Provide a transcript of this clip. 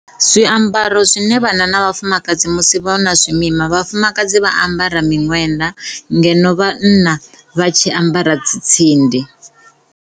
Zwiambaro zwine vhanna na vhafumakadzi vha zwi ambara musi vha na zwimima vhafumakadzi vha ambara miṅwenda ngeno vhanna vha tshi ambara dzi tsindi.